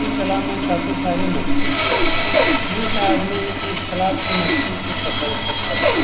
इस तालाब में काफी सारे मछली भी है इनका आदमी इस तालाब की मछली को पकड़ कर खाते हैं।